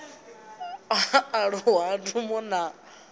aluwa ha ndumbo na u